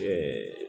Ɛɛ